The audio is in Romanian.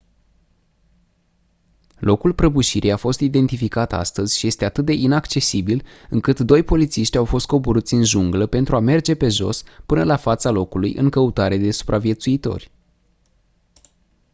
locul prăbușirii a fost identificat astăzi și este atât de inaccesibil încât doi polițiști au fost coborâți în junglă pentru a merge pe jos până la fața locului în căutare de supraviețuitori